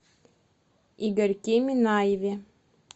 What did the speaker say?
игорьке минаеве